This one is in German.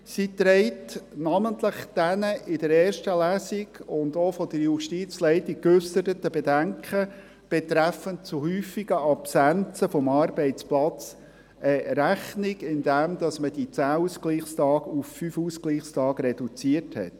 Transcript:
Sie trägt namentlich den in der ersten Lesung und auch von der Justizleitung geäusserten Bedenken betreffend zu häufiger Absenzen vom Arbeitsplatz Rechnung, indem man die 10 Ausgleichstage auf 5 reduziert hat.